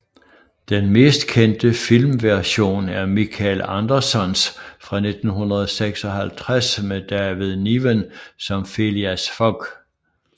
Den mest kendte filmversion er Michael Andersons fra 1956 med David Niven som Phileas Fogg